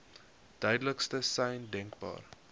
duidelikste sein denkbaar